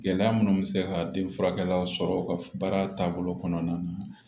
Gɛlɛya minnu bɛ se ka den furakɛla sɔrɔ u ka baara taabolo kɔnɔna na